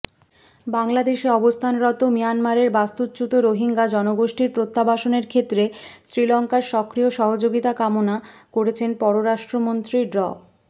বাংলাদেশে অবস্থানরত মিয়ানমারের বাস্তুচ্যুত রোহিঙ্গা জনগোষ্ঠীর প্রত্যাবাসনের ক্ষেত্রে শ্রীলঙ্কার সক্রিয় সহযোগিতা কামনা করেছেন পররাষ্ট্রমন্ত্রী ড